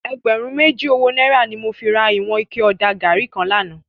Ègbèrún méjí ówó nàírá ni mó fi rá iwòn iké òdá gàrí kán làná